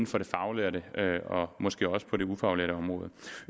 for det faglærte og måske også på det ufaglærte område